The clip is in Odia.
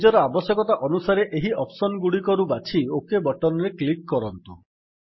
ନିଜର ଆବଶ୍ୟକତା ଅନୁସାରେ ଏହି ଅପ୍ସନ୍ ଗୁଡିକରୁ ବାଛି ଓକ୍ ବଟନ୍ ରେ କ୍ଲିକ୍ କରନ୍ତୁ